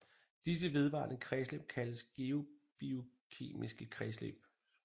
Disse vedvarende kredsløb kaldes geobiokemiske kredsløb